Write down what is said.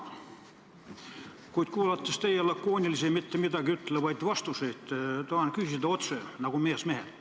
Kuid olles kuulanud teie lakoonilisi mittemidagiütlevaid vastuseid, tahan küsida otse, nagu mees mehelt.